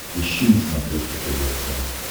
ищи на смотрешке тв центр